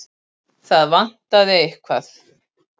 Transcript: Það vantaði eitthvað.